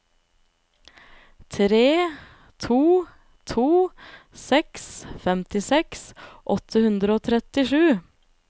tre to to seks femtiseks åtte hundre og trettisju